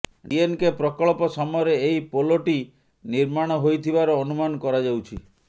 DNK ପ୍ରକଳ୍ପ ସମୟରେ ଏହି ପୋଲଟି ନିର୍ମାଣ ହୋଇଥିବାର ଅନୁମାନ କରାଯାଉଛି